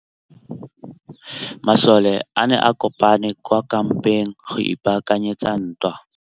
Masole a ne a kopane kwa kampeng go ipaakanyetsa ntwa.